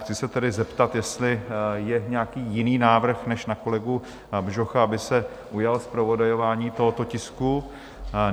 Chci se tedy zeptat, jestli je nějaký jiný návrh než na kolegu Bžocha, aby se ujal zpravodajování tohoto tisku?